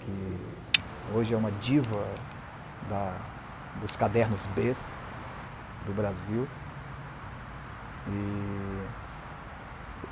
que hoje é uma diva da dos cadernos bês do Brasil. E